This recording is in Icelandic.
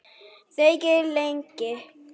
Þegir lengi.